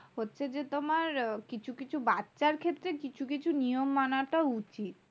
হচ্ছে যে তোমার কিছু কিছু বাচ্চার ক্ষেত্রে কিছু কিছু নিয়ম মানাটা উচিত।